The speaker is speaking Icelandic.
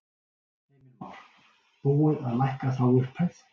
Heimir Már: Búið að lækka þá upphæð?